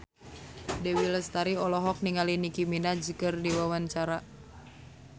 Dewi Lestari olohok ningali Nicky Minaj keur diwawancara